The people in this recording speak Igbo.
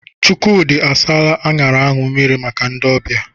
Chukwudi asaala aṅara ahụ mmiri maka ndị ọbịa.